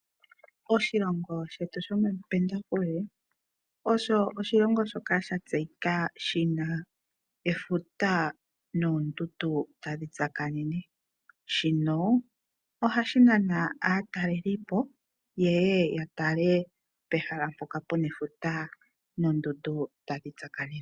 Oshilongo shetu shomapendafule osho oshilongo shoka shatseyika shina efuta noondundu tadhi tsakanene, shino ohashinana aatalelipo yeye yatale pehala mpoka puna efuta noondundu dha tsakanena.